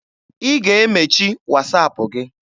Ị ga-emechi Wasaapụ gị!